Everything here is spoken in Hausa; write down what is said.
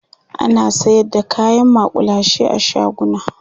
ana sayar da kayan makullashe a shaguna